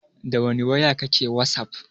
Dawani waya kake wasaf?